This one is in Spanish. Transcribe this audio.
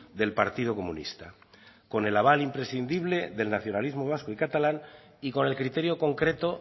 del partido comunista con el aval imprescindible del nacionalismo vasco y catalán y con el criterio concreto